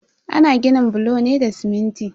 Ana ginin bulo ne da siminti.